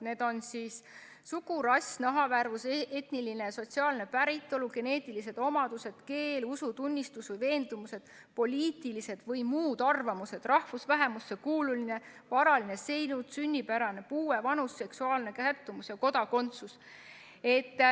Need on sugu, rass, nahavärvus, etniline või sotsiaalne päritolu, geneetilised omadused, keel, usutunnistus või veendumused, poliitilised või muud arvamused, rahvusvähemusse kuulumine, varaline seisund, sünnipära, puue, vanus, seksuaalne sättumus ja kodakondsus.